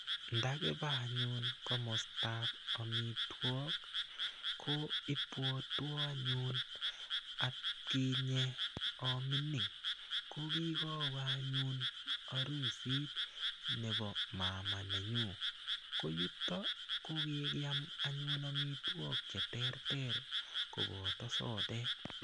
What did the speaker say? Ndakiba anyun komostap omitwok ko ibwotwo anyun atkinye amining ko kikowe anyun arusit nebo maama nenyu ko yuto ko kikiam anyun amitwok che ter ter koboto sodek.